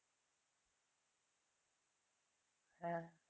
হ্যাঁ